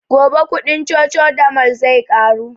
Gobe kuɗin cocodamol zai ƙaru